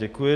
Děkuji.